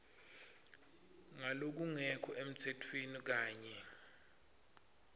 ngalokungekho emtsetfweni kanye